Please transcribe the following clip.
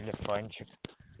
телефончик